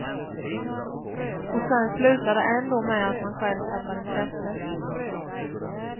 Och sen slutar det ändå med att man själv tappar intresset.